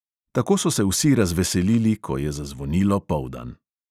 Tako so se vsi razveselili, ko je zazvonilo poldan.